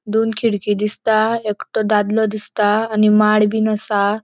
दोन खिडकि दिसता एकटो दादलों दिसता आणि माड बिन असा.